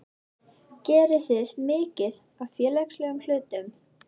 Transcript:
geriði mikið af félagslegum hlutum?